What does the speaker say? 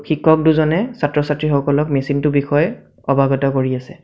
শিক্ষক দুজনে ছাত্ৰ-ছাত্ৰীসকলক মেচিন টোৰ বিষয়ে অবাগত কৰি আছে।